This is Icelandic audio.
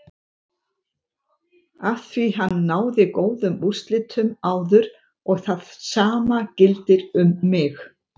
Afþví hann náði góðum úrslitum áður og það sama gildir um mig.